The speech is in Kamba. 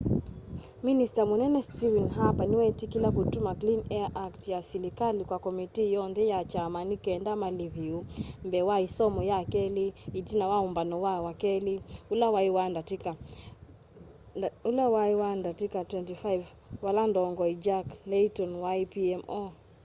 minista munene stephen harper niweetikila kutuma clean air act ya silikali kwa komitii yoonthe ya kyama ni kenda maliviu mbee wa isomo ya keli itina wa umbano wa wakeli ula wai wa ndatika 25 vala ndongoi jack layton wai pmo